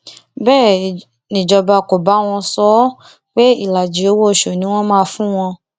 bẹẹ nìjọba kò bá àwọn sọ ọ pé ìlàjì owóoṣù ni wọn máa fún àwọn